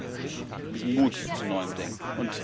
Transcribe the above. Wir brauchen diesen Mut zu neuem Denken.